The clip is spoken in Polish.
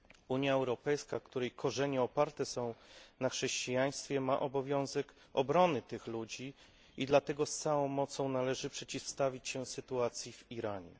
Unia Europejska, której korzenie oparte są na chrześcijaństwie, ma obowiązek bronić tych ludzi i dlatego z całą mocą należy potępić sytuację w Iranie.